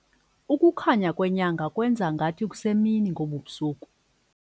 Ukukhanya kwenyanga kwenze ngathi kusemini ngobu busuku.